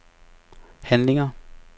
handlinger